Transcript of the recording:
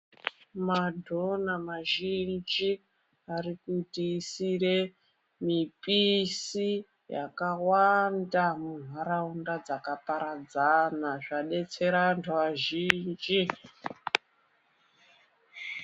Madhona mazhinji ari kutiisire mipisi yakawanda mundaraunda dzakaparadzana, zvadetsera antu azhinji.